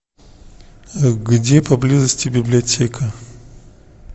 где поблизости библиотека